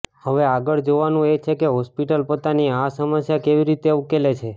હવે આગળ જોવાનું એ છે કે હોસ્પિટલ પોતાની આ સમસ્યા કેવી રીતે ઉકેલે છે